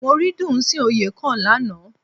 Mo rí Dùnsìn Oyèkán lánàá